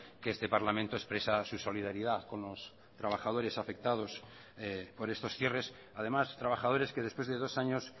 que este parlamento expresa su solidaridad con los trabajadores afectados por estos cierres además trabajadores que después de dos años